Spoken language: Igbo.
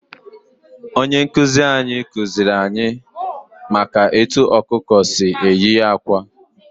Onye nkuzi anyị kuziri anyị maka etu ọkụkọ si eyi akwa.